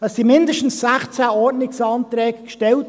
Es wurden mindestens 16 Ordnungsanträge gestellt.